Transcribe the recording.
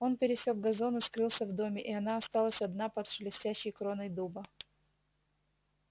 он пересёк газон и скрылся в доме и она осталась одна под шелестящей кроной дуба